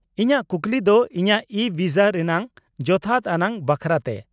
ᱼᱤᱧᱟᱹᱜ ᱠᱩᱠᱞᱤ ᱠᱚ ᱤᱧᱟᱹᱜ ᱤᱼᱵᱷᱤᱥᱟ ᱨᱮᱱᱟᱜ ᱡᱚᱛᱷᱟᱛ ᱟᱱᱟᱜ ᱵᱟᱠᱷᱨᱟ ᱛᱮ ᱾